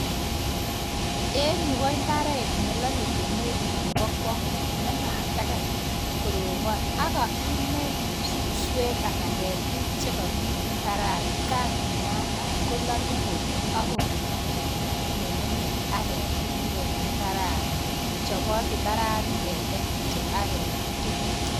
En yu ko imbaret nelolee kemeut nebokwongut. Nematakai koroobon ak Kimmel suswek anan ketik chekomii imbarani, kanginaam maat kololyoo kobek. Akongeet kityok ngungunyek ak ketik en imbarani. chobot imbarani keteem kityok ak kemin tuguuk.